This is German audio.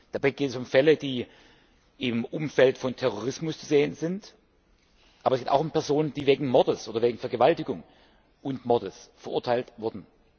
Dabei geht es um Fälle, die im Umfeld des Terrorismus zu sehen sind, aber es geht auch um Personen, die wegen Mordes oder wegen Vergewaltigung und Mordes verurteilt wurden.